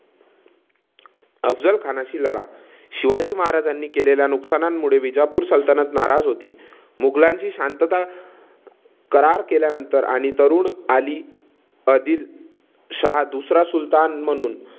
अफझल खानशी लढा, शिवाजी महाराजांनी केलेल्या नुकसानीमुळे विजापूर सल्तनत नाराज होती. मुघलांशी शांतता करार केल्यानंतर आणि तरुण अली आदिलशाह दुसरा सुलतान म्हणून